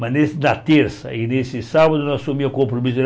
Mas nesse na terça e nesse sábado não assumia o compromisso